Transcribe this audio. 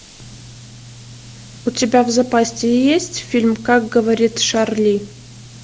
у тебя в запасе есть фильм как говорит шарли